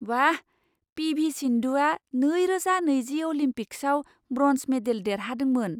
बाह! P V सिन्धुआ नैरोजा नैजि अलिम्पिक्सआव ब्र'न्ज मेडेल देरहादोंमोन!